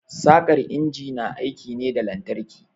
Saƙar injin na aiki ne da lantarki.